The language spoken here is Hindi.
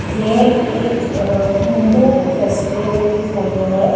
ये एक अ हिन्दू फेस्टिवल की फोटो है।